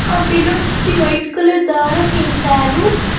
ఆ బెలూన్స్ కి white colour దారం వేశారు.